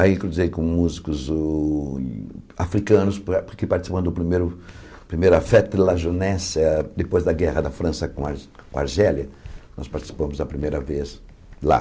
Aí, cruzei com músicos o africanos, porque participamos do primeiro da primeira fête de la jeunesse, depois da guerra da França com a com a Argélia, nós participamos a primeira vez lá.